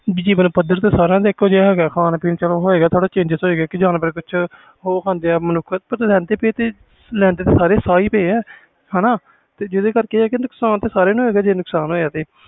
ਜੀਵਨ ਪੱਧਰ ਤੇ ਸਾਰਿਆਂ ਦਾ ਏਕੋ ਜਿਹਾ ਹੈ ਗਾ ਖਾਨ ਪੀਣ ਹੋਏਗਾ ਥੋੜ੍ਹਾ change ਲੈਂਦੇ ਤੇ ਸਾਰੇ ਸਾਹ ਪਏ ਆ ਜੀਂਦੇ ਕਰਕੇ ਨੁਕਸਾਨ ਤੇ ਸਾਰਿਆਂ ਦਾ ਹੋਵੇ ਗਾ